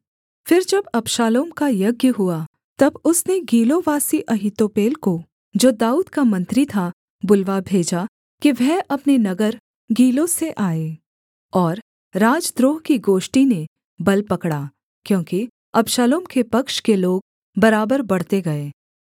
फिर जब अबशालोम का यज्ञ हुआ तब उसने गीलोवासी अहीतोपेल को जो दाऊद का मंत्री था बुलवा भेजा कि वह अपने नगर गीलो से आए और राजद्रोह की गोष्ठी ने बल पकड़ा क्योंकि अबशालोम के पक्ष के लोग बराबर बढ़ते गए